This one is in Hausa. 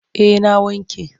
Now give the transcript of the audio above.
Eh na wanke.